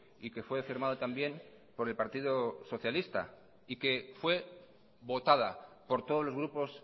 y que fue firmado también por el partido socialista y que fue votada por todos los grupos